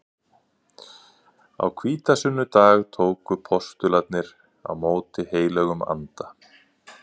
Á hvítasunnudag tóku postularnir á móti heilögum anda.